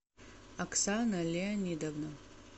оксана леонидовна